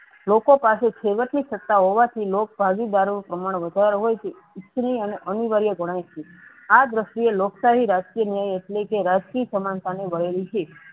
લોકો પાસે છેવટ ની સાત હોવાથી લોક ભાગીદરો નું પ્રમાણ વધારે હોવાથી ઉતરી અને અનિવાર્ય ગણાય છે. આ દરશ્ય લોકશાહી રાજકીય ન્યાય એટલેકે રાજકીય સમાનતાનું ભરેલું છે.